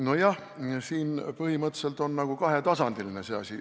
Nojah, see asi on põhimõtteliselt nagu kahetasandiline.